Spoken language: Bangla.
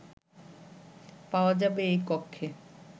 পাওয়া যাবে এই কক্ষে